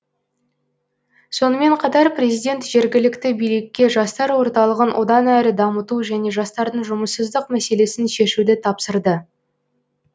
сонымен қатар президент жергілікті билікке жастар орталығын одан әрі дамыту және жастардың жұмыссыздық мәселесін шешуді тапсырды